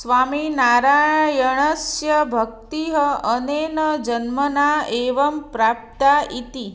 स्वामिनारायणस्य भक्तिः अनेन जन्मना एव प्राप्ता इति